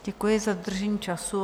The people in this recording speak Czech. Děkuji za dodržení času.